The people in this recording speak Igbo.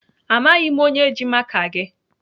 Amaghị m onye ji maka gị.